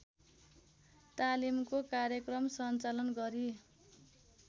तालीमको कार्यक्रम सञ्चालन गरी